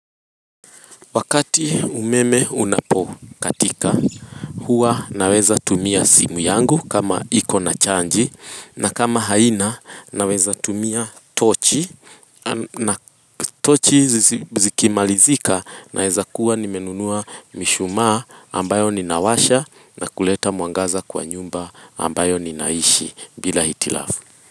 Wakati umeme unapo katika huwa naweza tumia simu yangu kama iko na chanji na kama haina naweza tumia tochi na tochi zikimalizika naweza kuwa nimenunua mishumaa ambayo ninawasha na kuleta muangaza kwa nyumba ambayo ninaishi bila hitilafu.